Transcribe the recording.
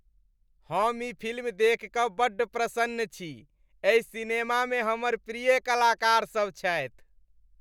हम ई फिल्म देखि बड्ड प्रसन्न छी। एहि सिनेमामे हमर प्रिय कलाकारसभ छथि।